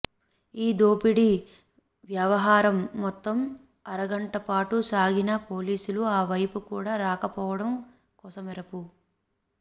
ఈ దోపిడీ వ్యవహారం మొత్తం అరగంటపాటు సాగినా పోలీసులు ఆ వైపు కూడా రాక పోవటం కొసమెరుపు